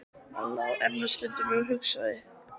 Hann lá enn um stund og hugsaði.